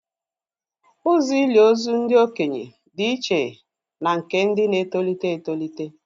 Ụzọ ili ozu ndị okenye dị iche na nke ndị na-etolite etolite